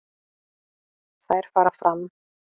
Þær fara fram